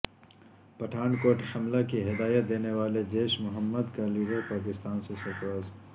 پٹھان کوٹ حملہ کی ہدایت دینے والا جیش محمد کا لیڈر پاکستان سے فرار